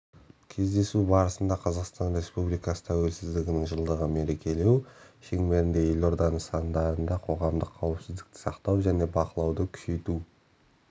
кездесу барысында қазақстан республикасы тәуелсіздігінің жылдығын мерекелеу шеңберінде елорда нысандарында қоғамдық қауіпсіздікті сақтау және бақылауды күшейту